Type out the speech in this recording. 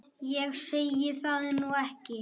Ég segi það nú ekki.